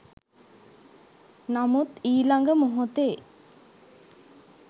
නමුත් ඊළඟ මොහොතේ